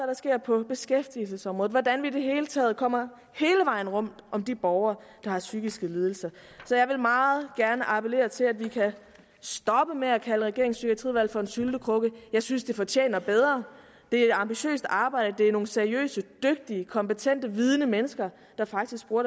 der sker på beskæftigelsesområdet altså hvordan vi i det hele taget kommer hele vejen rundt om de borgere der har psykiske lidelser jeg vil meget gerne appellere til at vi kan stoppe med at kalde regeringens psykiatriudvalg for en syltekrukke jeg synes det fortjener bedre det er et ambitiøst arbejde det er nogle seriøse dygtige kompetente vidende mennesker der faktisk bruger